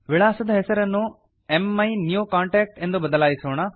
ವಿಳಾಸದ ಹೆಸರನ್ನು ಮೈನ್ಯೂಕಾಂಟಾಕ್ಟ್ ಎಂದು ಬದಲಾಯಿಸೋಣ